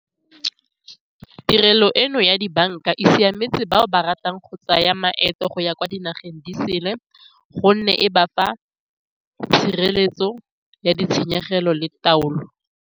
Tirelo eno ya dibanka e siametse bao ba ratang go tsaya maeto go ya kwa dinageng di sele, gonne e ba fa tshireletso ya ditshenyegelo le taolo.